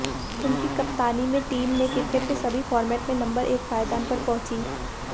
उनकी कप्तानी में टीम ने क्रिकेट के सभी फॉर्मेट में नम्बर एक पायदान पर पहुंची